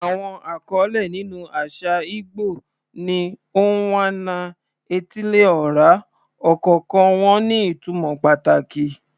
Àwọn àkọlé nínú àṣà ìgbò ni "Onwa-na-etili-ora," ọ̀kọ̀ọ̀kan wọn ní ìtumọ̀ pàtàkì.